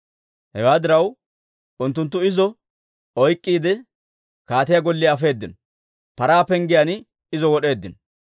Hewaa diraw, unttunttu izo oyk'k'iide, kaatiyaa golliyaa afeedino; Paraa Penggiyaan izo wod'eeddino.